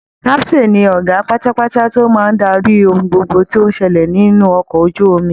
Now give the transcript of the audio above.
Captain ni ọgá pátápátá to máa daríi ohun gbogbo tó ń ṣẹlẹ̀ nínú ọkọ̀ ojú omi